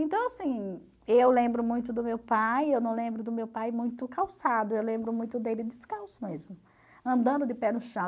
Então, assim, eu lembro muito do meu pai, eu não lembro do meu pai muito calçado, eu lembro muito dele descalço mesmo, andando de pé no chão.